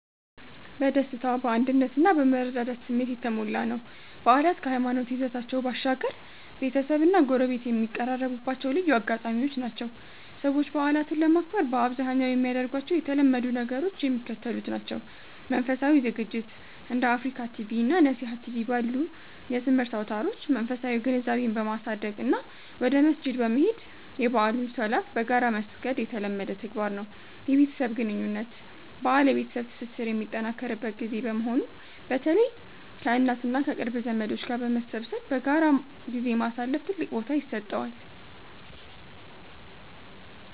በደስታ፣ በአንድነት እና በመረዳዳት ስሜት የተሞላ ነው። በዓላት ከሃይማኖታዊ ይዘታቸው ባሻገር፣ ቤተሰብና ጎረቤት የሚቀራረቡባቸው ልዩ አጋጣሚዎች ናቸው። ሰዎች በዓላትን ለማክበር በአብዛኛው የሚያደርጓቸው የተለመዱ ነገሮች የሚከተሉት ናቸው፦ መንፈሳዊ ዝግጅት፦ እንደ አፍሪካ ቲቪ እና ነሲሃ ቲቪ ባሉ የትምህርት አውታሮች መንፈሳዊ ግንዛቤን በማሳደግ እና ወደ መስጂድ በመሄድ የበዓሉን ሶላት በጋራ መስገድ የተለመደ ተግባር ነው። የቤተሰብ ግንኙነት፦ በዓል የቤተሰብ ትስስር የሚጠናከርበት ጊዜ በመሆኑ፣ በተለይ ከእናት እና ከቅርብ ዘመዶች ጋር በመሰብሰብ በጋራ ጊዜ ማሳለፍ ትልቅ ቦታ ይሰጠዋል።